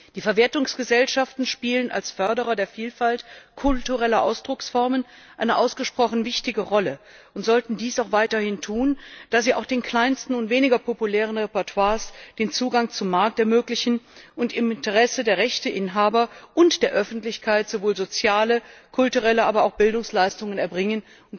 Die Verwertungsgesellschaften spielen als Förderer der Vielfalt kultureller Ausdrucksformen eine ausgesprochen wichtige Rolle und sollten dies auch weiterhin tun, da sie auch den kleinsten und weniger populären Repertoires den Zugang zum Markt ermöglichen und im Interesse der Rechteinhaber und der Öffentlichkeit sowohl soziale, kulturelle als auch Bildungsleistungen erbringen.